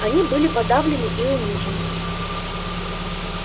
они были подавлены и унижены